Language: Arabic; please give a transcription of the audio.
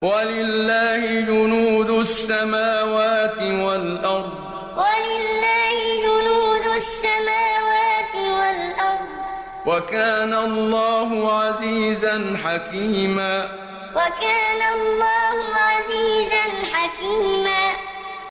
وَلِلَّهِ جُنُودُ السَّمَاوَاتِ وَالْأَرْضِ ۚ وَكَانَ اللَّهُ عَزِيزًا حَكِيمًا وَلِلَّهِ جُنُودُ السَّمَاوَاتِ وَالْأَرْضِ ۚ وَكَانَ اللَّهُ عَزِيزًا حَكِيمًا